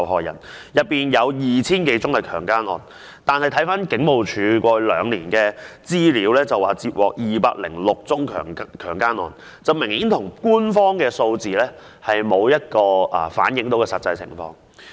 然而，回看警務處過去兩年的資料，曾接獲的強姦案有206宗，官方數字明顯沒有反映實際情況。